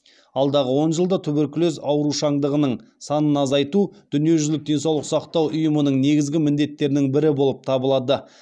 алдағы он жылда туберкулез аурушаңдығының санын азайту дүниежүзілік денсаулық сақтау ұйымының негізгі міндеттерінің бірі болып табылады